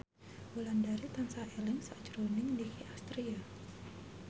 Wulandari tansah eling sakjroning Nicky Astria